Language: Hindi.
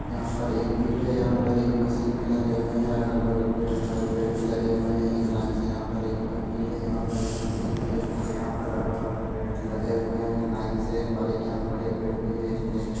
यहाँ पर एक फील्ड है यहाँ पर एक मशीन भी लगे हुए हैं अगल-बगल में ढ़ेर सारे पेड़ भी लगे हुए हैं एक लाइन से यहाँ पर एक ब फील्ड है यहाँ पर एक मशीन भी है और यहाँ पर अगल-बगल पेड़ भी लगे हुए है लाइन से और एक यहाँ बड़े पेड़ भी है इसमें ए --